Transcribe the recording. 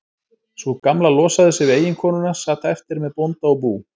Sú Gamla losaði sig við eiginkonuna, sat eftir með bónda og bú.